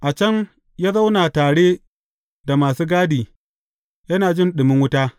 A can, ya zauna tare da masu gadi, yana jin ɗumin wuta.